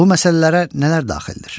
Bu məsələlərə nələr daxildir?